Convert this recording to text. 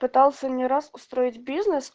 пытался не раз устроить бизнес